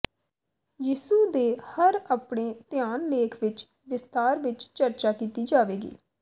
ਯਿਸੂ ਦੇ ਹਰ ਆਪਣੇ ਧਿਆਨ ਲੇਖ ਵਿਚ ਵਿਸਥਾਰ ਵਿੱਚ ਚਰਚਾ ਕੀਤੀ ਜਾਵੇਗੀ